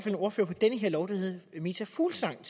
en ordfører på den her lov der hed meta fuglsang